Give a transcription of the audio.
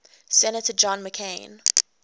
senator john mccain